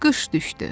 Qış düşdü.